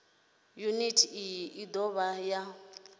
yuniti iyi i dovha ya